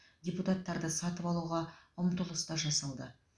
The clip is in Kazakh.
депутаттарды сатып алуға ұмтылыс да жасады